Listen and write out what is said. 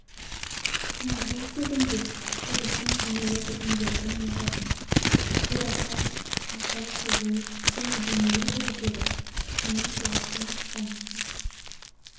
құнанбай тегінде жігіттің денелі бітімділігін ұнататын бурахан аса сұлу және денелі жігіт еді соның тұлғасын тамаша